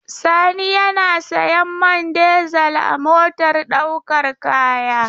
Sani yana sayan man dizel a motar ɗaukar kaya.